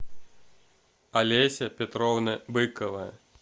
олеся петровна быкова